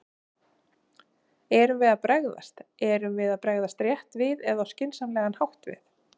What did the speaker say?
Erum við að bregðast, erum við að bregðast rétt við eða á skynsamlegan hátt við?